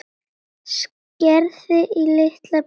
Skerið í litla bita.